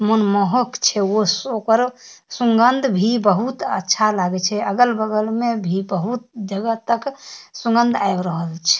मनमोहक छे वो सोकरो सुगंध भी बहुत अच्छा लगे छे अगल-बगल में भी बहुत जगहा तक सुगंध आय रहल छे --